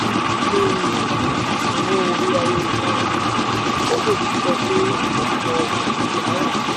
lórí owó orí ayélujára? ogechi sọ pé ọ̀pọ̀ ìpèníjà wà.